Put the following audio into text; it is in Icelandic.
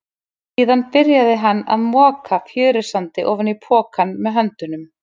Síðan byrjaði hann að moka fjörusandi ofan í pokann með höndunum.